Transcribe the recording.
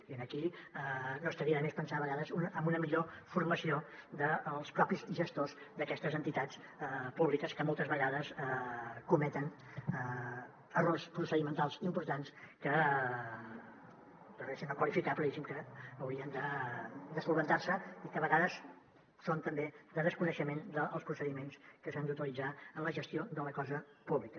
i aquí no estaria de més pensar a vegades en una millor formació dels propis gestors d’aquestes entitats públiques que moltes vegades cometen errors procedimentals importants que prefereixo no qualificar però diguéssim que haurien de solucionar se i que a vegades són també de desconeixement dels procediments que s’han d’utilitzar en la gestió de la cosa pública